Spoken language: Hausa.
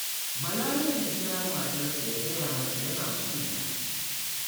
Bala yakan kira matarsa ya gaya mata yana son ta